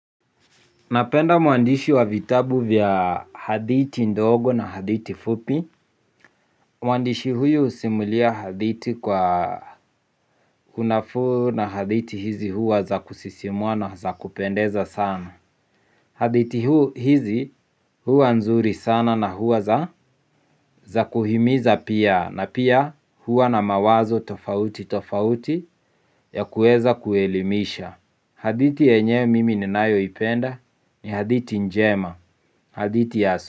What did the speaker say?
Napenda mwandishi wa vitabu vya hadithi ndogo na hadithi fupi. Mwandishi huyu husimulia hadithi kwa kunafuu na hadithi hizi huwa za kusisimua na za kupendeza sana. Hadithi huu hizi huwa nzuri sana na huwa za kuhimiza pia na pia huwa na mawazo tofauti tofauti ya kuweza kuelimisha. Hadithi yenyewe mimi ninayoipenda ni hadithi njema, hadithi asu.